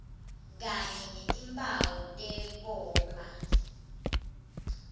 kanye netimphawu tekoma